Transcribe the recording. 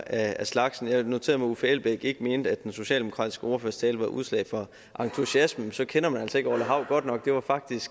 af slagsen jeg noterede mig at uffe elbæk ikke mente at den socialdemokratiske ordførers tale var udslag for entusiasme men så kender man altså ikke orla hav godt nok det var faktisk